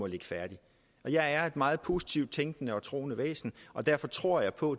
ligge færdigt jeg er et meget positivt tænkende og troende væsen og derfor tror jeg på